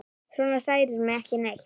Svona særir mig ekki neitt.